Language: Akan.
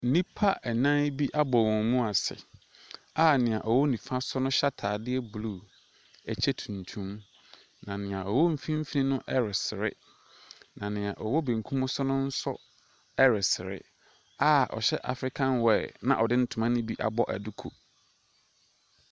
Nnipa nnan bi abɔ wɔn mu ase a deɛ ɔwɔ nifa so no hyɛ ataadeɛ blue, kyɛ tuntum, na deɛ ɔwɔ mfimfini no ɛresere, na deɛ ɔwɔ bankum so no nso ɛresere a ɔhyɛ African wear na ɔde ntoma ne bi nso abɔ duku.